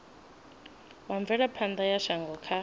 wa mvelaphana ya shango kha